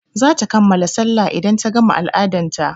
zata kammala sallah idan ta gama al-adan ta.